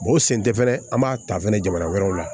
o sen tɛ fɛnɛ an b'a ta fɛnɛ jamana wɛrɛw la